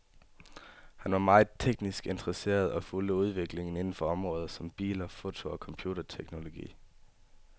Han var meget teknisk interesseret og fulgte udviklingen inden for områder som biler, foto og computerteknologi.